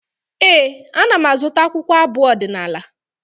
Ee, ana m azụta akwụkwọ abụ ọdịnaala.